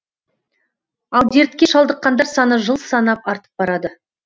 ал дертке шалдыққандар саны жыл санап артып барады